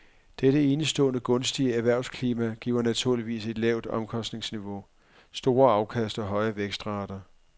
Dette enestående gunstige erhvervsklima giver naturligvis et lavt omkostningsniveau, store afkast og høje vækstrater.